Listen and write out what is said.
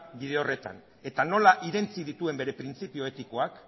bide horretan eta nora irentsi dituen bere printzipio etikoak